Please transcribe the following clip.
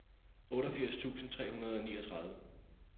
otteogfirs tusind tre hundrede og niogtredive